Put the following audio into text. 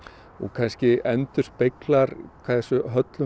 kannski endurspeglar hversu höllum